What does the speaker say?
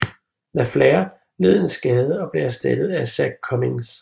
LaFlare led en skade og blev erstattet af Zak Cummings